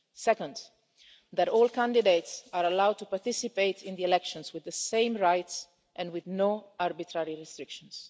Second, that all candidates are allowed to participate in the elections with the same rights and with no arbitrary restrictions.